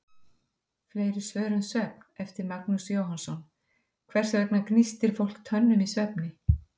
Fleiri svör um svefn, eftir Magnús Jóhannsson: Hvers vegna gnístir fólk tönnum í svefni?